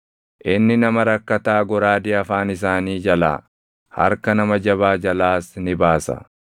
Inni nama rakkataa goraadee afaan isaanii jalaa, harka nama jabaa jalaas ni baasa.